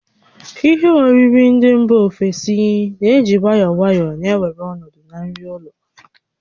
Ihe oriri ndị mba ofesi na-eji nwayọọ nwayọọ na-ewere ọnọdụ nri ụlọ